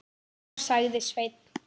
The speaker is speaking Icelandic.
Já, sagði Sveinn.